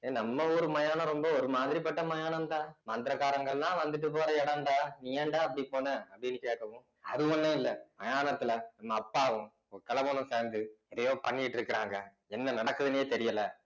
ஏய் நம்ம ஊரு மயானம் ரொம்ப ஒரு மாதிரிப்பட்ட மயானம்டா மந்திரகாரங்க எல்லாம் வந்துட்டு போற இடம்டா நீ ஏன்டா அப்படி போன அப்படின்னு கேட்கவும் அது ஒண்ணும் இல்ல மயானத்துல நம்ம அப்பாவும் ஒரு கெழவனும் சேர்ந்து எதையோ பண்ணிட்டு இருக்கிறாங்க என்ன நடக்குதுன்னே தெரியலே